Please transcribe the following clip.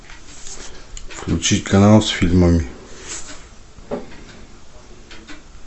включи канал с фильмами